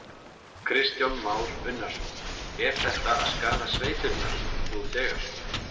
Kristján Már Unnarsson: Er þetta að skaða sveitirnar nú þegar?